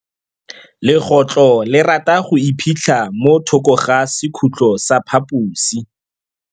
Legôtlô le rata go iphitlha mo thokô ga sekhutlo sa phaposi.